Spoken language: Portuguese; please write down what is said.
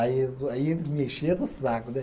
Aí eles o, aí eles me encheram o saco, né?